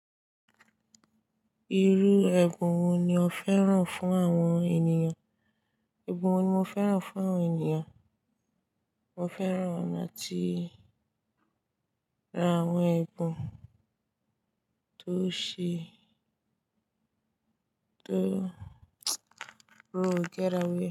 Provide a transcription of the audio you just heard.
Irú ẹ̀bùn wo ni o fẹ́ràn fún àwọn ènìyàn? Ẹ̀bùn wo ni mo fẹ́ràn fún àwọn ènìyàn? Mo fẹ́ràn àti ra àwọn ẹ̀bùn tó ṣe, tó go get away.